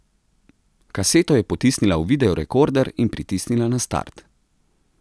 Kaseto je potisnila v videorekorder in pritisnila na start.